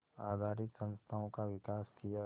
आधारित संस्थाओं का विकास किया